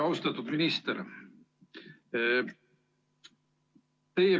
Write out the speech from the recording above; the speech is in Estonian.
Austatud minister!